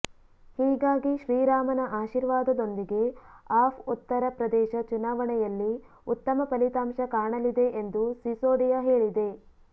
ಹೀಗಾಗಿ ಶ್ರೀರಾಮನ ಆಶೀರ್ವಾದದೊಂದಿಗೆ ಆಪ್ ಉತ್ತರ ಪ್ರದೇಶ ಚುನಾವಣೆಯಲ್ಲಿ ಉತ್ತಮ ಫಲಿತಾಂಶ ಕಾಣಲಿದೆ ಎಂದು ಸಿಸೋಡಿಯಾ ಹೇಳಿದೆ